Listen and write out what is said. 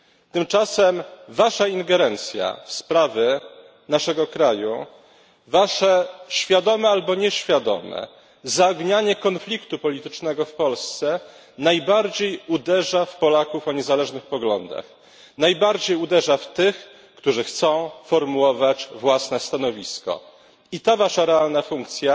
Tymczasem wasza ingerencja w sprawy naszego kraju, wasze świadome albo nieświadome zaognianie konfliktu politycznego w Polsce najbardziej uderza w Polaków o niezależnych poglądach, najbardziej uderza w tych, którzy chcą formułować własne stanowisko. I ta wasza realna funkcja